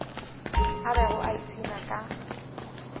a bego a ipshina ka